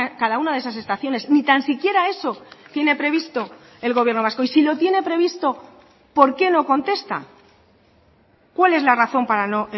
cada una de esas estaciones ni tan siquiera eso tiene previsto el gobierno vasco y si lo tiene previsto por qué no contesta cuál es la razón para no